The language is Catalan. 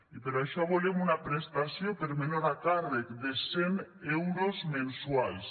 i per això volem una prestació per menor a càrrec de cent euros mensuals